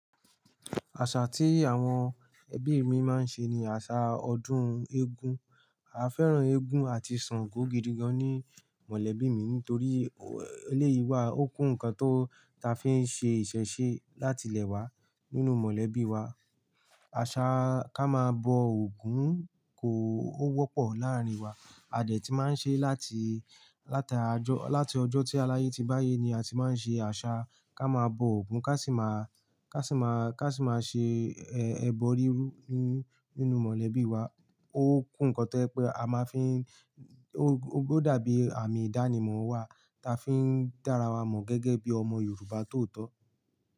Àṣà tí àwọn ẹbí mi máa ń ṣe ni àṣà ọdún eégún. A fẹ́ràn eégún àti Ṣàngó gidi gan ní mọ̀lẹ́bí mi nítorí eléyìí wà ó kú nnkan tó ta fi ń ṣe ìṣẹ̀ṣe láti ilẹ̀ wa nínú mọ̀lẹ́bí wa. Àṣa ká máa bọ Ògún kó ó wọ́pọ̀ láàrin wa. A dẹ̀ ti máa ń ṣe láti, láta ọjọ́, láti ọjọ́ tí aláyé ti báyé ni a ti máa ń ṣe àṣà ká máa bọ Ògún ká sì máa, ká sì máa, ká sì máa ṣe ẹbọ rírú nínú mọ̀lẹ́bí wa. Ó kú nnkan tẹ́ pẹ́ a máa fi ń, ó dàbí àmì ìdánimọ̀ wa ta fi ń dára wa mọ̀ gẹ́gẹ́ bí ọmọ Yorùbá tó tọ́.